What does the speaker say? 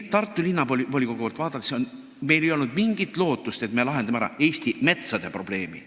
Tartu Linnavolikogu poolt vaadates ei olnud meil mingit lootust, et me lahendame ära Eesti metsade probleemi.